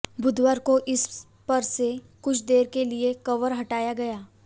बुधवार को इस पर से कुछ देर के लिए कवर हटाया गया